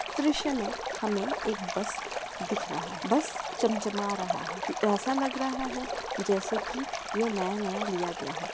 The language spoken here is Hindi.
इस द्रश्य मे हमें एक बस दिख रहा है बस चमचमा रहा है ऐसा लग रहा है जैसे की ये नया-नया लिया गया हो।